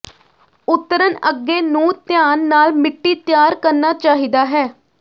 ਉਤਰਨ ਅੱਗੇ ਨੂੰ ਧਿਆਨ ਨਾਲ ਮਿੱਟੀ ਤਿਆਰ ਕਰਨਾ ਚਾਹੀਦਾ ਹੈ